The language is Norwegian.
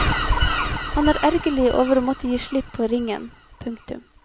Han er ergerlig over å måtte gi slipp på ringen. punktum